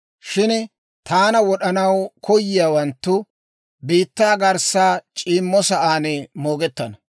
Shin taana wod'ana koyiyaawanttu, biittaa garssa c'iimmo sa'aan moogettana.